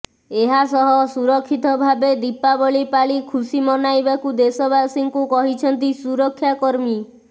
ଏହାସହ ସୁରକ୍ଷିତ ଭାବେ ଦୀପାବଳି ପାଳି ଖୁସି ମନାଇବାକୁ ଦେଶବାସୀଙ୍କୁ କହିଛନ୍ତି ସୁରକ୍ଷାକର୍ମୀ